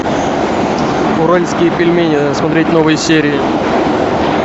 уральские пельмени смотреть новые серии